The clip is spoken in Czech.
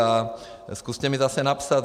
A zkuste mi zase napsat.